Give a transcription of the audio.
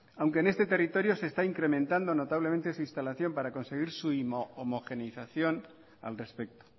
aunque en este territorio se está incrementando notablemente su instalación para conseguir su homogeneización al respecto